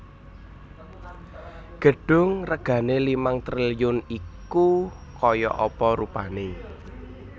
Gedung regane limang triliun iku koyok apa rupane?